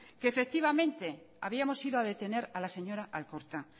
que efectivamente habíamos ido a detener a la señora alkorta